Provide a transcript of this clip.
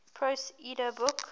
prose edda book